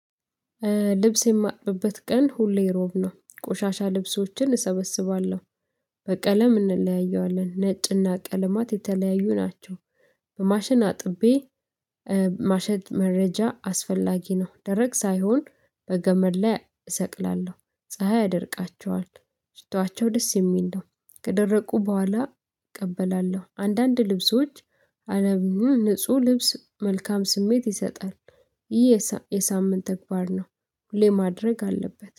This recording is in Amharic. ልብስ የማጥብበት ቀን ሁሌ ሮብ ነው ቆሻሻ ልብሶችን እሰበስባለሁ በቀለም እንለያየዋለን ነጭና ቀለማት የተለያዩ ናቸው። በማሽን አጥቤ። ማሸት መረጃ አስፈላጊ ነው። ደረቅ ሳይሆን በገመድ ላይ እሰቅላለሁ ፀሀይ ያደርቃቸዋል። ሽታዋቸው ደስ የሚል ነው። ከደረቁ በኋላ እቀበላለሁ አንዳንድ ልብሶች አለም ንጹህ ልብስ መልካም ስሜት ይሰጣል። ይህ የሳምንት ተግባር ነው። ሁሌ ማድረግ አለበት